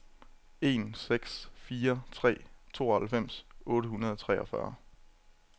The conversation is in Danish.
en seks fire tre tooghalvfems otte hundrede og treogfyrre